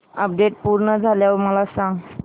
update पूर्ण झाल्यावर मला सांग